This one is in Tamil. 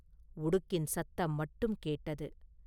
உடுக்கின் சத்தம் மட்டும் கேட்டது.